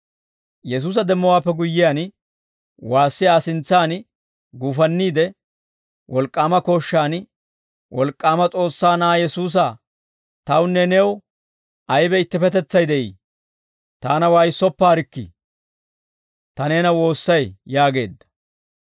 Yesuusa demmowaappe guyyiyaan, waassi Aa sintsaan guufanniide wolk'k'aama kooshshaan, «Wolk'k'aama S'oossaa na'aa Yesuusaa, tawunne new aybe ittippetetsay de'ii? Taana waayissoppaarikkii; ta neena woossay» yaageedda.